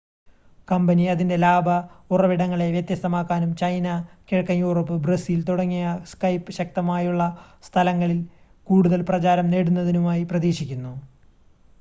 company അതിൻ്റെ ലാഭ ഉറവിടങ്ങളെ വ്യത്യസ്തമാക്കാനും ചൈന കിഴക്കൻ യൂറോപ്പ് ബ്രസീൽ തുടങ്ങിയ skype ശക്തമായുള്ള സ്ഥലങ്ങളിൽ കൂടുതൽ പ്രചാരം നേടുന്നതിനുമായി പ്രതീക്ഷിക്കുന്നു